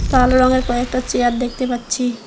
কালো রঙের কয়েকটা চেয়ার দেখতে পাচ্ছি।